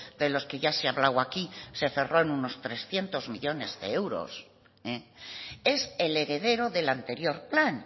de los que ya se ha hablado aquí se cerró en unos trescientos millónes de euros es el heredero del anterior plan